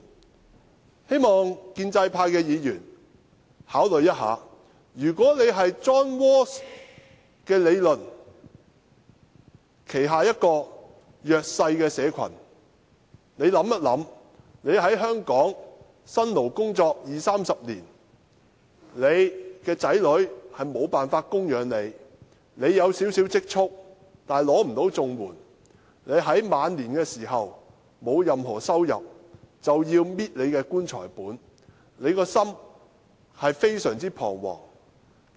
我希望建制派的議員考慮一下，如果他們是 John RAWLS 的理論所指的弱勢社群的一員，試想想自己在香港辛勞工作二三十年，但子女無法供養自己；自己有少許積蓄，卻不能領取綜援；自己在晚年時沒有任何收入，要靠"棺材本"維生，省吃儉用，心情將非常彷徨。